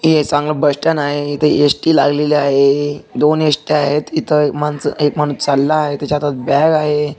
हे एक चांगलं बस स्टॅन्ड आहे इथं एस_टी लागलेली आहे दोन एस_ट्या आहेत इथं माणसं एक माणूस चालला आहे त्याच्या हातात बॅग आहे.